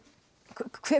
hvar